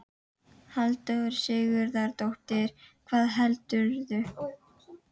Halldóra Sigurðardóttir: Hvað heldurðu?